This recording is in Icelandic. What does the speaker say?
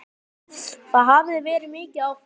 Það hafi verið mikið áfall.